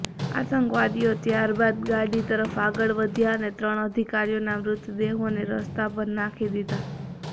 આતંકવાદીઓ ત્યારબાદ ગાડી તરફ આગળ વધ્યા અને ત્રણ અધિકારીઓના મૃતદેહોને રસ્તા પર નાંખી દીધા